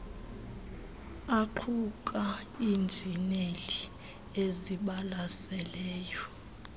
aquka iinjineli ezibalaseleyo